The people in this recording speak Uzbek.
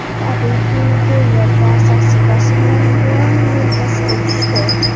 Tabiiyki, bu yerda asosiy bosim yana Leoning yelkasiga tushdi.